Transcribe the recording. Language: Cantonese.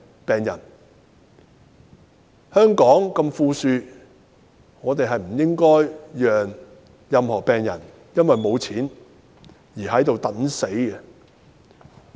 香港這麼富庶，不應該讓任何病人因為沒有錢而等死。